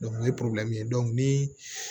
o ye ye ni